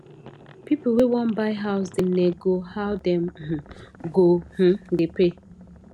pipu wey wan buy house da nego how dem um go um da pay